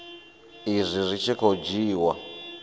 izwi zwi tshi khou dzhiiwa